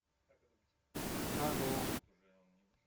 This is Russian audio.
таро